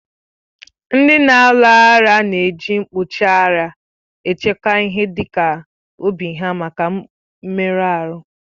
Ndị na-alu agha na èji mkpuchi ara echekwa ihe dịka obi ha maka mmerụ ahụ